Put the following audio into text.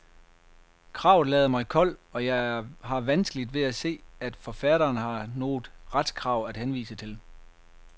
Kravet lader mig kold, og jeg har vanskeligt ved at se, at forfatterne har noget retskrav at henvise til.